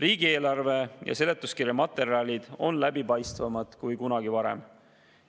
Riigieelarve ja selle seletuskirja materjalid on läbipaistvamad kui kunagi varem.